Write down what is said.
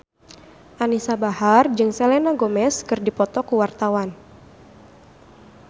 Anisa Bahar jeung Selena Gomez keur dipoto ku wartawan